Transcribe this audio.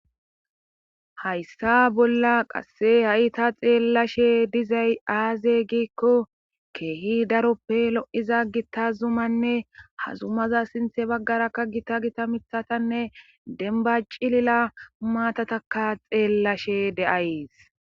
Hayssa bolla qasse ha'i ta xeellashe dizay aaze giikko keehi daroppe lo'iza gitta zumanne hazumaza sinthe baggara ka gita gita mithatanne denba cilila humatataka xeellashe de'ays